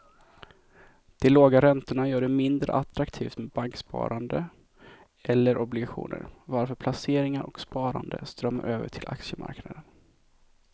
De låga räntorna gör det mindre attraktivt med banksparande eller obligationer varför placeringar och sparande strömmar över till aktiemarknaden.